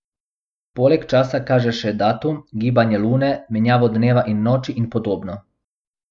Poleg časa kaže še datum, gibanje Lune, menjavo dneva in noči in podobno.